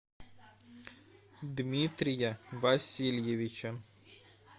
дмитрия васильевича